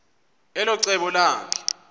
elo cebo lakhe